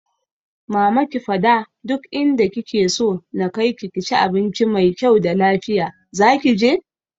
Mama ki fada duk inda kike so na kaiki ki ci abincin mai kyau da lafiya, zaki je?